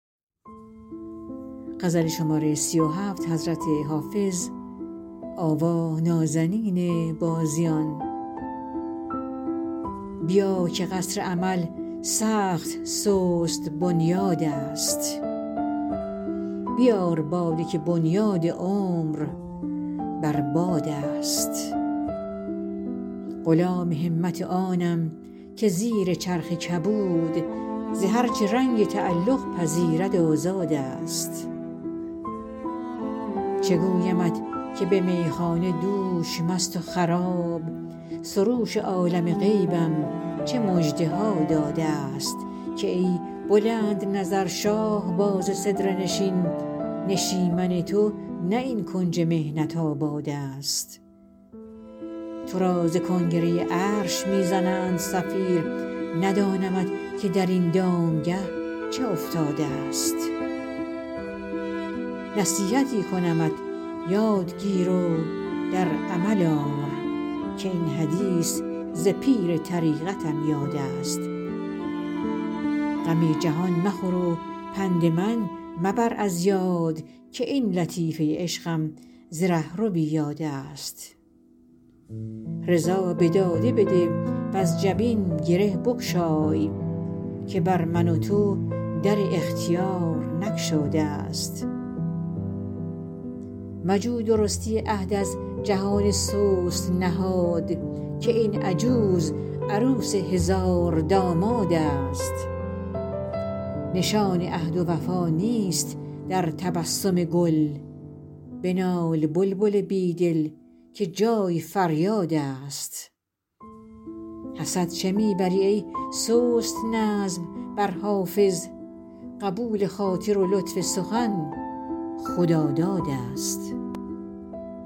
بیا که قصر امل سخت سست بنیادست بیار باده که بنیاد عمر بر بادست غلام همت آنم که زیر چرخ کبود ز هر چه رنگ تعلق پذیرد آزادست چه گویمت که به میخانه دوش مست و خراب سروش عالم غیبم چه مژده ها دادست که ای بلندنظر شاهباز سدره نشین نشیمن تو نه این کنج محنت آبادست تو را ز کنگره عرش می زنند صفیر ندانمت که در این دامگه چه افتادست نصیحتی کنمت یاد گیر و در عمل آر که این حدیث ز پیر طریقتم یادست غم جهان مخور و پند من مبر از یاد که این لطیفه عشقم ز رهروی یادست رضا به داده بده وز جبین گره بگشای که بر من و تو در اختیار نگشادست مجو درستی عهد از جهان سست نهاد که این عجوز عروس هزاردامادست نشان عهد و وفا نیست در تبسم گل بنال بلبل بی دل که جای فریادست حسد چه می بری ای سست نظم بر حافظ قبول خاطر و لطف سخن خدادادست